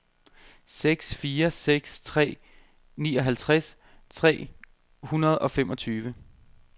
seks fire seks tre nioghalvtreds tre hundrede og femogtyve